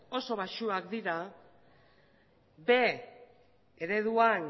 oso baxuak dira b ereduan